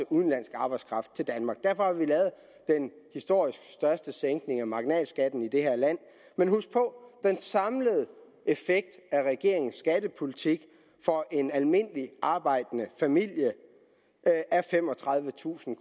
udenlandsk arbejdskraft til danmark derfor har vi lavet den historisk største sænkning af marginalskatten i det her land men husk på den samlede effekt af regeringens skattepolitik for en almindelig arbejdende familie er femogtredivetusind